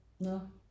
Nårh